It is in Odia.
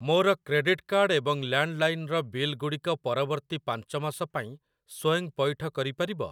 ମୋର କ୍ରେଡିଟ୍‌ କାର୍ଡ଼୍ ଏବଂ ଲ୍ୟାଣ୍ଡ୍‌ଲାଇନ୍ ର ବିଲଗୁଡ଼ିକ ପରବର୍ତ୍ତୀ ପାଞ୍ଚ ମାସ ପାଇଁ ସ୍ଵୟଂ ପଇଠ କରିପାରିବ?